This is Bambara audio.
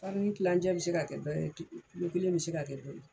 Farini kilancɛ bɛ se ka kɛ dɔ ye kelen bɛ se ka kɛ dɔ ye.